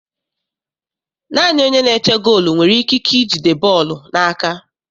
Naanị onye na-eche goolu nwere ikike ijide bọọlụ n'aka.